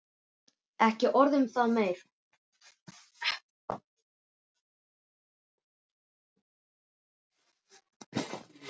Og ekki orð um það meira!